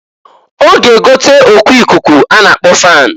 Ọ ga egote oku ikuku a na-akpọ fan.